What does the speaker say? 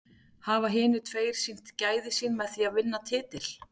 Hafa hinir tveir sýnt gæði sín með því að vinna titil?